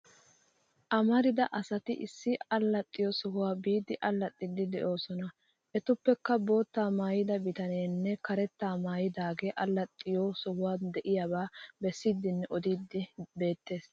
Amarida asati issi allaxxiyo sohuwan biidi allaxxiiddi de'oosona. Etuppekka bootaa maayida bitanee karetta maayidaagaa allaxxiyo sohuwan de'iyaaba bessiiddinne odiiddi beettes.